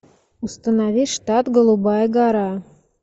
установи штат голубая гора